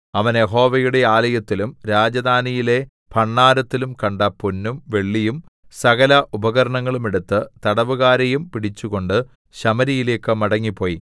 അവൻ യഹോവയുടെ ആലയത്തിലും രാജധാനിയിലെ ഭണ്ഡാരത്തിലും കണ്ട പൊന്നും വെള്ളിയും സകല ഉപകരണങ്ങളും എടുത്ത് തടവുകാരെയും പിടിച്ചുകൊണ്ട് ശമര്യയിലേക്ക് മടങ്ങിപ്പോയി